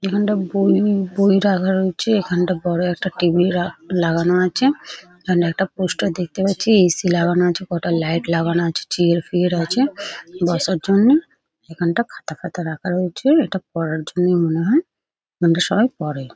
এখানটা বই বই রাখা রয়েছে । এখানটা বড়ো একটা টেবিল -রা লাগানো আছে । এখানে একটা পোস্টার দেখতে পাচ্ছি । এ.সি. লাগানো আছে ।কটা লাইট লাগানো আছে । চেয়ার ফেয়ার আছে বসার জন্য । এখানটা খাতা ফাতা রাখা রয়েছে । এটা পড়ার জন্যই মনে হয় । এখানটা সবাই পড়ে ।